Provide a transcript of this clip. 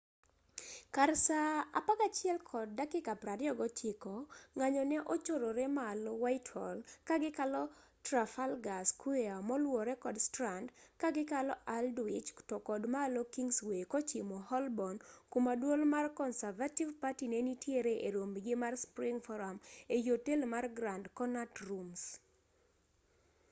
kar saa 11:29 ng'anyo ne ochorore malo whitehall ka gikalo traffalgar square moluwore kod strand ka gikalo aldwych to kod malo kingsway kochimo holborn kuma duol mar conservative party ne nitiere e rombgi mar spring forum ei otel mar grand connaut rooms